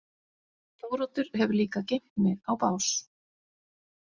Þóroddur hefur líka geymt mig á bás.